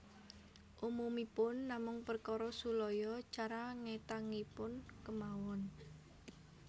Umumipun namung perkara sulaya cara ngetangipun kemawon